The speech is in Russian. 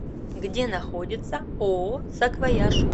где находится ооо саквояж